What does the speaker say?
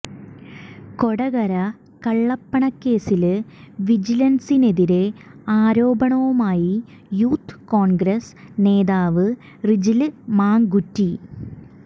കൊടകര കള്ളപ്പണക്കേസില് വിജിലന്സിനെതിരെ ആരോപണവുമായി യൂത്ത് കോണ്ഗ്രസ് നേതാവ് റിജില് മാക്കുറ്റി